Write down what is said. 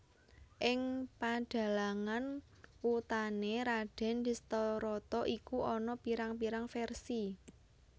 Ing padhalangan wutané Radèn Dhestharata iku ana pirang pirang versi